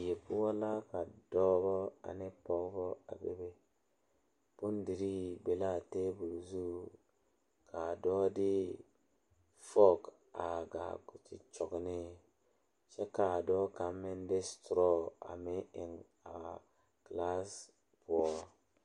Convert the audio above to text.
Die pɔgeba are ka bamine zeŋ ka gangaare biŋ kaŋa zaa toɔ puli kyɛ ka ba zage ba nuure kaa do saa kyɛ ka ba gbɛɛ meŋ gaa.